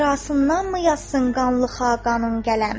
Ehtirasındanmı yazsın qanlı xağanım qələm.